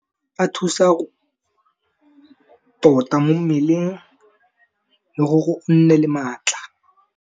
A thusa, tota mo mmeleng le gore o nne le maatla.